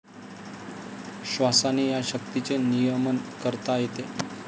श्वासाने या शक्तीचे नियमन करता येते.